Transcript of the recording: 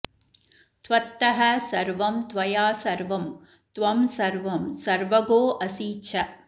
त्वत्तः सर्वं त्वया सर्वं त्वं सर्वं सर्वगोऽसि च